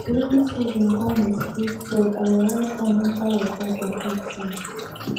rainy season come with big flood our rice farm enter water completely